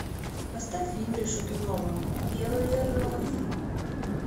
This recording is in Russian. поставь юрия шатунова белые розы